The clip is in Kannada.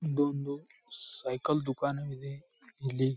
ಇದೊಂದು ಸೈಕಲ್ ದುಕಾನ್ ಇದೆ ಇಲ್ಲಿ --